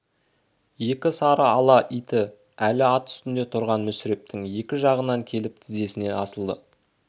екі сары ала иті әлі ат үстінде тұрған мүсірептің екі жағынан келіп тізесіне асылды